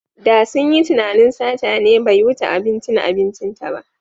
Da sun yi tunanin sata ne bai wuce abincin abincinta ba.